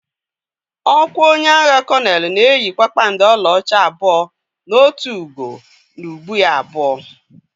Ọkwa onye agha kolonelụ na-eyi kpakpando ọlaọcha abụọ na otu ugo n’ubu ya abụọ.